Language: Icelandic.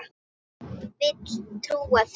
Vil trúa því.